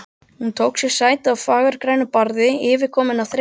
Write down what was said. Hún tók sér sæti á fagurgrænu barði, yfirkomin af þreytu.